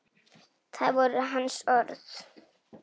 Það voru hans orð.